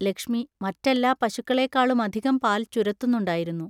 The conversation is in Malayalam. ലക്ഷ്മി മറ്റെല്ലാ പശുക്കളേക്കാളുമധികം പാൽ ചുരത്തുന്നുണ്ടായിരുന്നു.